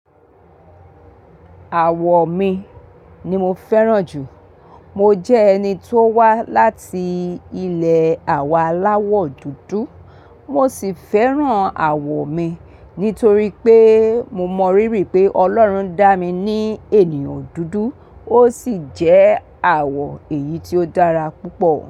Àwọ̀ mi ni mo fẹ́ràn jù. Mo jẹ́ ẹni tó wá láti ilé àwà aláwọ̀ dúdú. Mo sì fẹ́ràn àwọ̀ mi nítorí pé mo mọ rírì pé Ọlọ́run dá mi ní ènìyàn dúdú ó sì jẹ́ àwọ̀ èyí tí ó dára púpọ̀